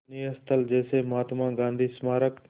दर्शनीय स्थल जैसे महात्मा गांधी स्मारक